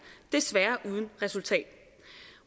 desværre uden resultat